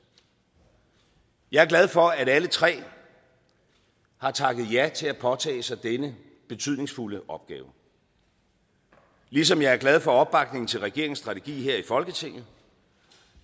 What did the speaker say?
jeg er glad for at alle tre har takket ja til at påtage sig denne betydningsfulde opgave ligesom jeg er glad for opbakningen til regeringens strategi her i folketinget